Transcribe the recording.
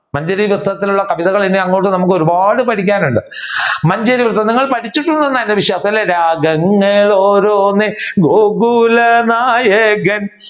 മഞ്ചരി വൃത്തത്തിലുള്ള കവിതകൾ നമ്മുക്ക് അങ്ങാട്ട് ഒരുപാട് പഠിക്കാനുണ്ട് മഞ്ചരി വൃത്തം നിങ്ങൾ പഠിച്ചിട്ടുണ്ടെന്നാണ് എന്റെ വിശ്വാസം രാഗങ്ങൾ ഓരോന്ന് ഗോകുല നായകൻ